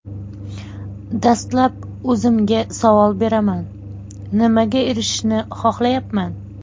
Dastlab o‘zimga savol beraman: nimaga erishishni xohlayapman?